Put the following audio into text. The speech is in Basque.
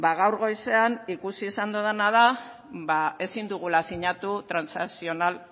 gaur goizean ikusi izan dudana da ba ezin dugula sinatu transakzional